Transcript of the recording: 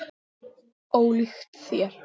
Ólíkt þér.